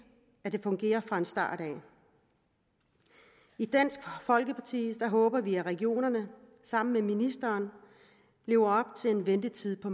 at det fungerer fra starten i dansk folkeparti håber vi at regionerne sammen med ministeren lever op til en ventetid på